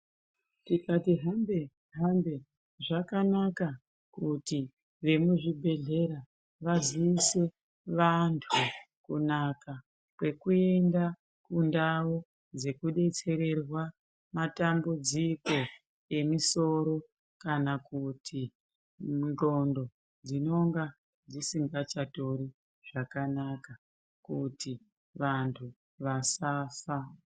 Tikati hambe-hambe zvakanaka kuti vemuzvibhedhlera vaziise vantu kunaka kwekuenda kundau dzekubetsererwa matambudziko emisoro. Kana kuti ndxondo dzinonga dzisingachatori zvakanaka kuti vantu vasafa.